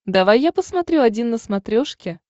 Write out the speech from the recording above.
давай я посмотрю один на смотрешке